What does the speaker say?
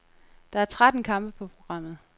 Der er tretten kampe på programmet.